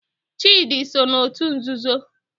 Chidi so n'otu nzuzo